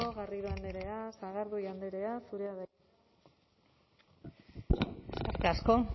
garrido andrea sagardui andrea zurea da hitza eskerrik asko